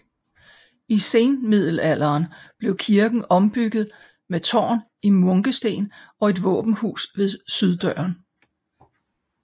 I senmiddelalderen blev kirken ombygget med tårn i munkesten og et våbenhus ved syddøren